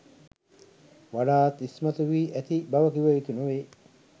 වඩාත් ඉස්මතු වී ඇති බව කිව යුතු නොවේ.